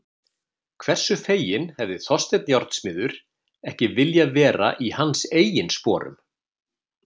Hversu feginn hefði Þorsteinn járnsmiður ekki viljað vera í hans eigin sporum?